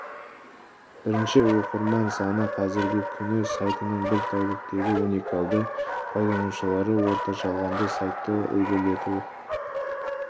бірінші көрсеткіші оқырман саны қазіргі күні сайтының бір тәуліктегі уникальды пайдаланушылары орташа алғанда сайтты ілгерілету